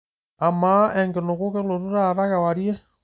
amaa enkinuku kelotu taata kewarie